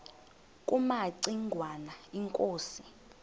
kumaci ngwana inkosi